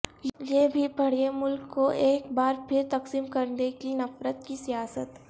یہ بھی پڑھیں ملک کو ایک بارپھر تقسیم کردے گی نفرت کی سیاست